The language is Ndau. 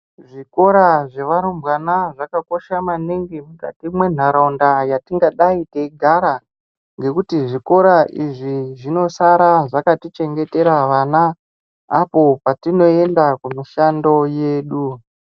Zvikora zvevarumbwana zvakaosha maningi mukati mwenharaunda yatingadai teigara ngekuti zvikora izvi zvinosara zvakatichengetera vana apo patinoenda kumishando yedu .